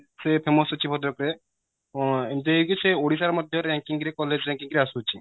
famous ଅଛି ବୋଧେ ଏବେ ଏମିତି ହେଇକି ସେ ଓଡିଶା ରେ ମଧ୍ୟ ranking ରେ college ranking ରେ ଆସୁଛି